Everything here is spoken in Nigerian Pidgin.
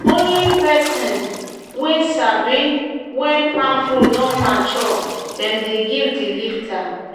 "na only person wey sabi when palm fruit don mature dem dey give di lifter."